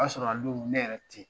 O y'a sɔrɔ Alu ne yɛrɛ te yen.